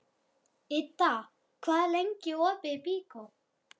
Idda, hvað er lengi opið í Byko?